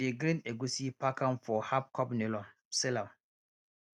we dey grind egusi pack am for halfcup nylon seal am